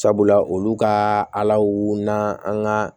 Sabula olu ka alaw n'an ka